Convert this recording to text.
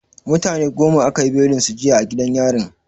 Mutane goma aka yi belin su jiya a gidan yarin.